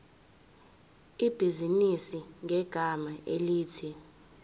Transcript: ibhizinisi ngegama elithi